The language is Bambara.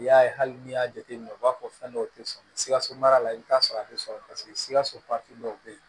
I y'a ye hali n'i y'a jateminɛ u b'a fɔ fɛn dɔw tɛ sɔn sikaso mara la i bɛ t'a sɔrɔ a tɛ sɔrɔ paseke sikaso dɔw bɛ yen